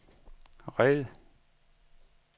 red